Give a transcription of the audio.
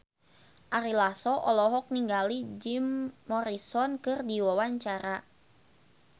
Ari Lasso olohok ningali Jim Morrison keur diwawancara